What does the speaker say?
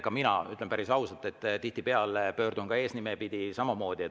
Ka mina, ütlen päris ausalt, pöördun tihtipeale ainult eesnime pidi.